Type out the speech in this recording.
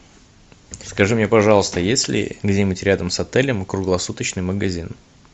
скажи мне пожалуйста есть ли где нибудь рядом с отелем круглосуточный магазин